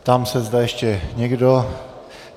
Ptám se, zda ještě někdo?